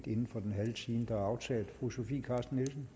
inden for den halve time der er aftalt fru sofie carsten nielsen